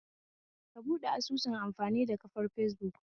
Ka buɓɗe asusun amfani da kafar fesbuk